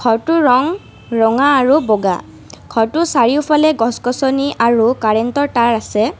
ঘৰটোৰ ৰং ৰঙা আৰু বগা ঘৰটোৰ চাৰিওফালে গছ গছনি আৰু কাৰেন্তৰ তাৰ আছে।